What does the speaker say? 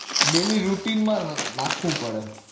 Daily routine માં નાખવું પડે